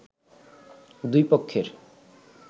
দুই পক্ষের